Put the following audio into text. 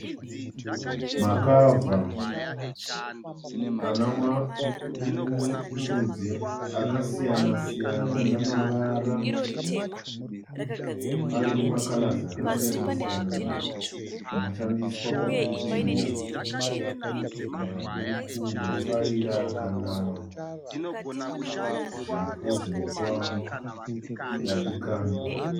Makavha ana marudzi akasiyana siyana namavara ayine makara akasiyana siyana. Anoshandiswa kuputira mabhuku, mafayira kana zvipo zvinopiwa vadikanwi.